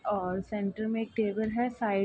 और सेंटर मे एक टेबल है साइड --